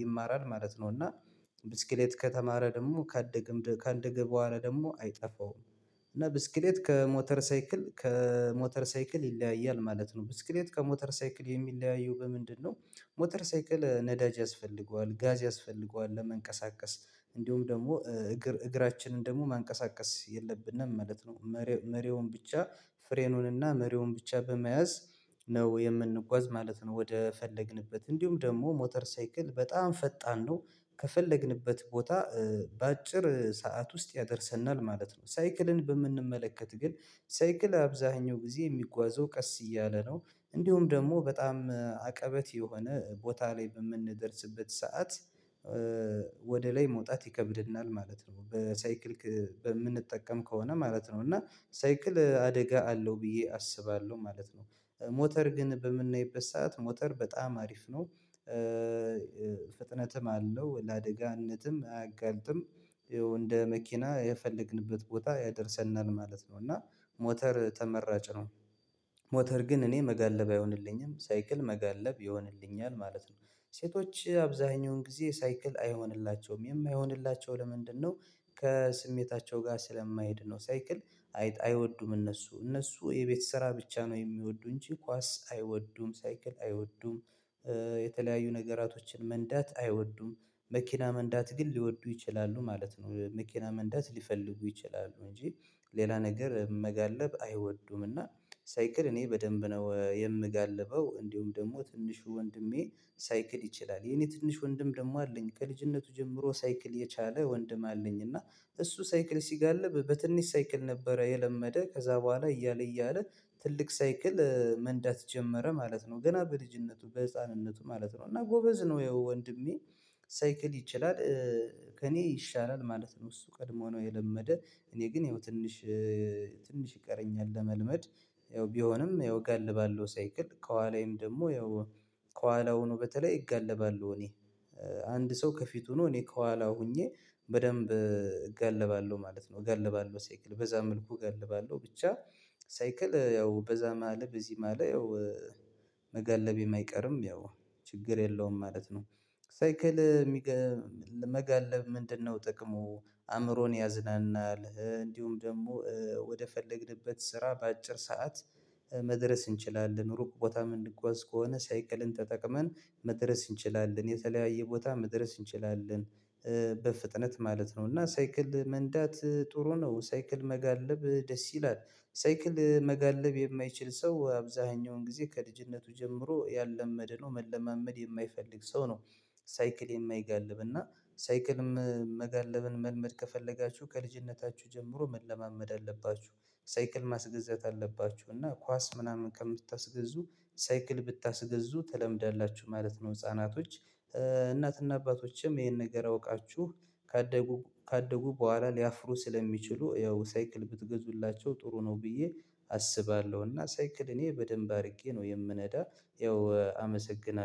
ይማራል ማለት ነው። እና ብስክሌት ከተማረ ደግሞ ካደገ ከአንድ ገበዋረ ደግሞ አይጠፋውም እና ብስክሌት ከሞተር ሳይክል ከሞተር ሳይክል ይለያያል ማለት ነው። ብስክሌት ከሞተር ሳይክል የሚለያየው በምንድነው ሞተር ሳይክል ነዳጅ ያስፈልገዋል ጋዝ ያስፈልገዋል ለመንቀሳቀስ እንደውም ደግሞ እግር እግራችንን ደግሞ መንቀሳቀስ የለብንም ማለት ነው። መሬውን ብቻ ፍሬኑንና መሬውን ብቻ በመያዝ ነው የምንጓዝ ማለት ነው ወደ ፈለግንበት እንዲሁም ደግሞ ሞተር ሳይክል በጣም ፈጣን ነው ከፈለግንበት ቦታ በአጭር ሰዓት ውስጥ ያደርሰናል ማለት ነው። ሳይክልን በምንመለከት ግን ሳይክል አብዛኛው ጊዜ የሚጓዘው ቀስ እያለ ነው። እንዲሁም ደግሞ በጣም አቀበት የሆነ ቦታ ላይ በምንደርስበት ሰዓት ወደ ላይ መውጣት ይከብድናል ማለት ነው በሳይክል በምንጠቀም ከሆነ ማለት ነው እና ሳይክል አደጋ አለው ብዬ አስባለሁ ማለት ነው። ሞተር ግን በምናይበት ሰዓት ሞተር በጣም አሪፍ ነው ፍጥነትም አለው ለአደጋነትም አያጋልጥም። እንደ መኪና የፈለግንበት ቦታ ያደርሰናል ማለት ነው። እና ሞተር ተመራጭ ነው ሞተር ግን እኔ መጋለብ አይሆንልኝም። ሳይክል መጋለብ ይሆንልኛል ማለት ነው። ሴቶች አብዛኛውን ጊዜ ሳይክል አይሆንላቸውም። የማይሆንላቸው ለምንድነው ከስሜታቸው ጋር ስለማይሄድ ነው። ሳይክል አይወዱም እነሱ። እነሱ የቤት ስራ ብቻ ነው የሚወዱ እንጂ ኳስ አይወዱም፣ ሳይክል አይወዱም የተለያዩ ነገራቶችን መንዳት አይወዱም። መኪና መንዳት ግን ሊወዱ ይችላሉ ማለት ነው። መኪና መንዳት ሊፈልጉ ይችላሉ እንጂ ሌላ ነገር መጋለብ አይወዱም እና ሳይክል እኔ በደንብ ነው የምጋልበው እንዲሁም ደግሞ ትንሹ ወንድሜ ሳይክል ይችላል የኔ ትንሹ ወንድም ደግሞ አለኝ ከልጅነቱ ጀምሮ ሳይክል የቻለ ወንድም አለኝ። እና እሱ ሳይክል ሲጋለብ በትንሽ ሳይክል ነበረ የለመደ። ከዛ በኋላ እያለ እያለ ትልቅ ሳይክል መንዳት ጀመረ ማለት ነው። ገና በልጅነቱ በህፃንነቱ ማለት ነው እና ጎበዝ ነው ወንድሜ ሳይክል ይችላል ከእኔ ይሻላል ማለት ነው። እሱ ቀድሞ ነው የለመደ እኔ ግን ያው ትንሽ ትንሽ ይቀረኛል ለመልመድ፤ ያው ቢሆንም ያው እጋልባለው ሳይክል ከኋላዬም ደግሞ ያው ከኋላው ሆኖ በተለይ እጋልባለሁ እኔ አንድ ሰው ከፊቱ ነው እኔ ከኋላው ሆኜ በደንብ እገልባለሁ ማለት ነው። እገልባለሁ ሳይክል በዛ መልኩ እገልባለሁ። ብቻ ሳይክል ያው በዛም አለ በዚህም አለ ያው መጋለቤም አይቀርም ያው ችግር የለውም ማለት ነው። ሳይክል መጋለብ ምንድነው ጥቅሙ? አእምሮን ያዝናናል፤ እንዲሁም ደግሞ ወደ ፈለግንበት ስራ በአጭር ሰዓት መድረስ እንችላለን። ሩቅ ቦታ ምንጓዝ ከሆነ ሳይክልን ተጠቅመን መድረስ እንችላለን። የተለያየ ቦታ መድረስ እንችላለን። በፍጥነት ማለት ነው። እና ሳይክል መንዳት ጥሩ ነው። ሳይክል መጋለብ ደስ ይላል። ሳይክል መጋለብ የማይችል ሰው አብዛኛውን ጊዜ ከልጅነቱ ጀምሮ ያላመደ ነው። መለማመድ የማይፈልግ ሰው ነው። ሳይክል የማይጋልብ እና ሳይክልም መጋለብን መልመድ ከፈለጋችሁ ከልጅነታችሁ ጀምሮ መለማመድ አለባችሁ። ሳይክል ማስገዛት አለባችሁ። እና ኳስ ምናምን ከምታስገዙ ሳይክል ብታስገዙ ትለምዳላችሁ ማለት ነው። ህፃናቶች እናትና አባቶችም ይሄን ነገር አውቃችሁ ካደጉ ካደጉ በኋላ ሊያፍሩ ስለሚችሉ ያው ሳይክል ብትገዙላቸው ጥሩ ነው ብዬ አስባለሁ። እና ሳይክል እኔ በደንብ አድርጌ ነው የምነዳ። ያው አመሰግናለሁ።